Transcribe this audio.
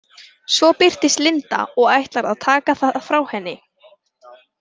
Svo birtist Linda og ætlar að taka það frá henni.